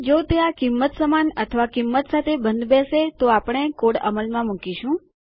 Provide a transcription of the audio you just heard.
જો તે આ કિંમત સમાન અથવા આ કિંમત સાથે બંધબેસે તો પછી આપણે કોડ અમલમાં મુકીશું